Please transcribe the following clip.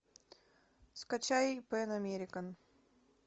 скачай пэн американ